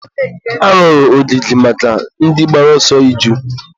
a rụrụ ogige maka ndị gbara ọsọ iju